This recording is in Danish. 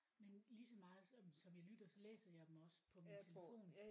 Men ligeså meget som som jeg lytter så læser jeg dem også på min telefon